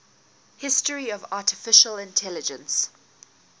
history of artificial intelligence